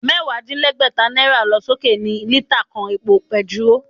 Mẹ́wàá-dín-lẹ́gbẹ́ta náírà lọ sókè ní lítà kan epo bentiróò